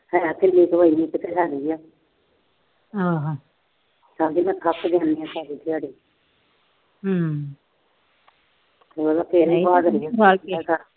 ਸਾਰਾ ਦਿਨ ਥੱਕ ਜਾਂਦੀ ਆ ਸਾਰੀ ਦਿਹਾੜੀ।